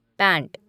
pant